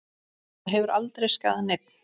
Það hefur aldrei skaðað neinn.